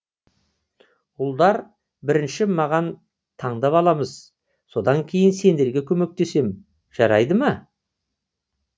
ұлдар бірінші маған таңдап аламыз содан кейін сендерге көмектесемін жарайды ма